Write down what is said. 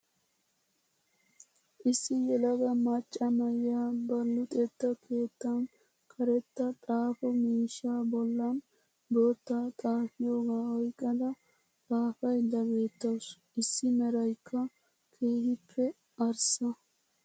issi yeelagaa maccaa na'iya ba luxxetta keettan karettaa xaafo miishshaa bollan botta xafiyogaa oyqqada xafaydda beettawusu. iissi meraaykka keehippe arsaa.